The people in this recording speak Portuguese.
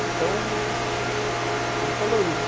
Então, ele falou isso.